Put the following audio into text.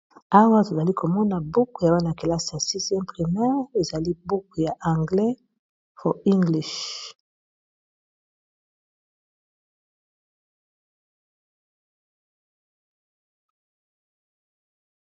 Awa tozali komona buku ya bana -kelasi ya 6 primeur ezali buku ya anglais .